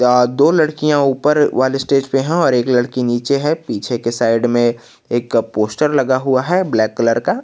अ दो लड़कियां ऊपर वाले स्टेज पे हैं और एक लड़की नीचे है पीछे के साइड में एक पोस्टर लगा हुआ है ब्लैक कलर का।